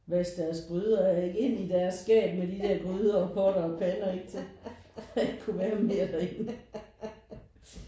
Vaske deres gryder af og ind i deres skab med de der gryder og potter og pander ikke ind til der ikke kunne være mere derinde